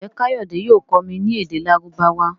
Njé kayode yóò kọ mí ní èdè Lárúbáwá?